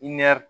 I nɛr